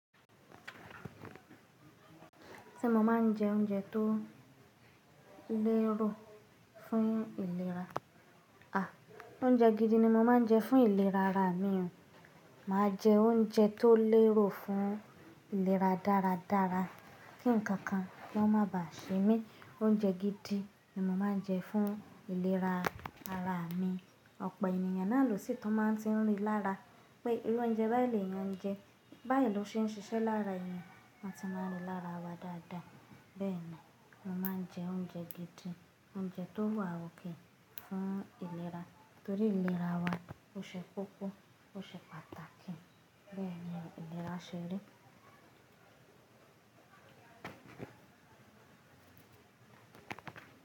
Ṣé mo máa ń jẹ oúnjẹ tó lérò fún ìlera? Oúnjẹ gidi ni mo máa ń jẹ fún ìlera ara mi o. Máa jẹ oúnjẹ tó lérò fún ìlera dáradára kí ǹkan kan kì won má bá ṣe mí. Oúnjẹ gidi ni mo máa ń jẹ fún ìlera ara mi. Ọ̀pọ̀ ènìyàn náà lòsí tú máa tí ń rí lára pé irú oúnjẹ báyi lè yàn ń jẹ, báyi ló se ń ṣiṣẹ́ lára èèyàn, wọn ti máa ń rí lára wa dáadáa. Bẹ́ẹ̀ni, mo máa ń jẹ oúnjẹ gidi, oúnjẹ tó wà okay fún ìlera torí ìlera wa ó ṣe kókó, ó ṣe pàtàkì. Bẹ́ẹ̀ni, ìlera ṣe ri.